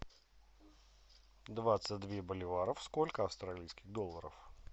двадцать две боливаров сколько австралийских долларов